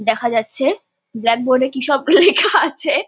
দেখা যাচ্ছে ব্ল্যাকবোর্ড -এ কি সব লেখা আছে।